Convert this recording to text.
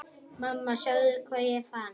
Mamma sjáðu hvað ég fann!